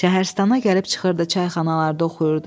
Şəhristana gəlib çıxırdı, çayxanalarda oxuyurdu.